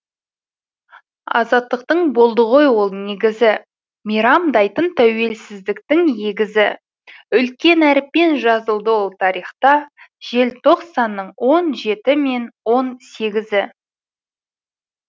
азаттықтың болды ғой ол негізі мейрамдайтын тәуелсіздіктің егізі үлкен әріппен жазылды ол тарихта желтоқсанның он жеті мен он сегізі